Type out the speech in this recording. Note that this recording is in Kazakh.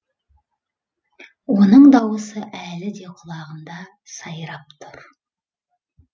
оның дауысы әлі де құлағымда сайрап тұр